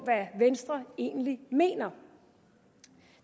hvad venstre egentlig mener